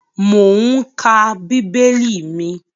Mò ún ka bíbélì mi